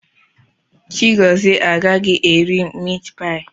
Chigọzie agaghị eri mitpaị a.